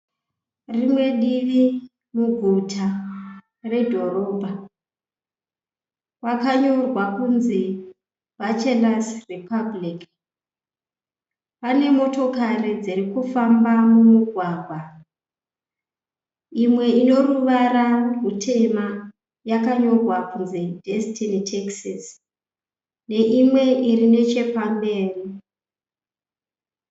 Rimwe divi muguta redhorabha pakanyorwa kuti BACHELORS REPUBLIC. Pane motokari dzirikufamba mumugwagwa. Imwe ineruvara rutema yaka nyorwa kuti DESTINY TAXIS neimwe iri pamberi.